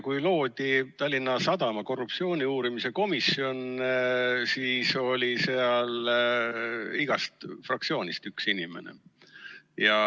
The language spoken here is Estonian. Kui loodi Tallinna Sadama korruptsiooni uurimise komisjon, siis oli seal igast fraktsioonist üks inimene.